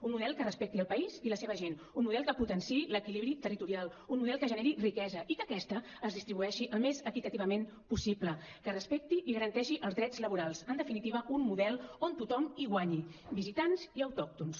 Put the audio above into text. un model que respecti el país i la seva gent un model que potenciï l’equilibri territorial un model que generi riquesa i que aquesta es distribueixi al més equitativament possible que respecti i garanteixi els drets laborals en definitiva un model on tothom hi guanyi visitants i autòctons